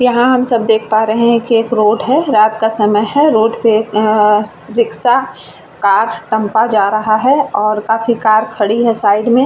यहाँ हम सब देख पा रहे है के एक रोड है। रात का समय है। रोड पे अ एक रिक्शा कार टेम्पा जा रहा है। और काफी कार खड़ी है साइड में |